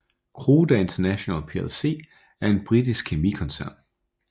Croda International plc er en britisk kemikoncern